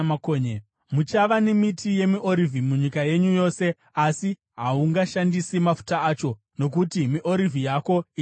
Muchava nemiti yemiorivhi munyika yenyu yose asi haungashandisi mafuta acho, nokuti miorivhi yako ichazuka.